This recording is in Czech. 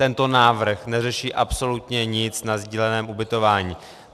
Tento návrh neřeší absolutně nic na sdíleném ubytování.